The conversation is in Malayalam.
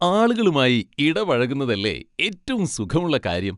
ആളുകളുമായി ഇടപഴകുന്നതല്ലേ ഏറ്റവും സുഖമുള്ള കാര്യം?